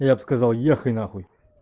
я б сказал ехай нахуй